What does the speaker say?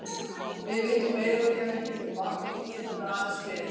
Við vitum meira þegar hann kemur til baka og því getum við aðeins beðið.